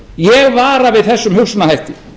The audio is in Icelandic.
ég vara við þessum hugsunarhætti